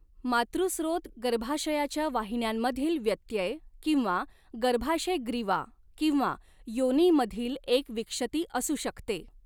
मातृस्रोत गर्भाशयाच्या वाहिन्यांमधील व्यत्यय किंवा गर्भाशयग्रीवा किंवा योनीमधील एक विक्षती असू शकते.